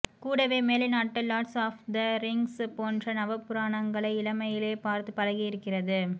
கூடவே மேலைநாட்டு Lord of the Rings போன்ற நவபுராணங்களை இளமையிலேயே பார்த்துப் பழகியிருக்கிறது